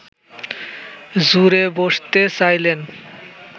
জুড়ে বসতে চাইছেন